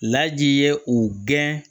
Laji ye u gɛn